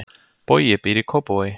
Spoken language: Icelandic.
Bogi býr í Kópavogi.